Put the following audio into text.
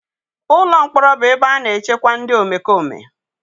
Ụlọ mkpọrọ bụ ebe a na-echekwa ndị omekome.